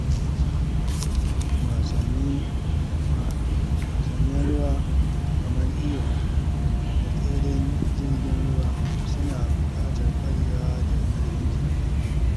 Wasannin ruwa kamar iyo da tseren jirgin ruwa suna buƙatar ƙwarewa da ƙarfin jiki.